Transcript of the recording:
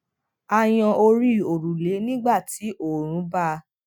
a yan ori òrùlé nígbà tí oòrùn bá